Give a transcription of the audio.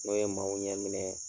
N'o ye maaw ɲɛ minɛ.